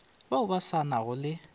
bao ba sa nago le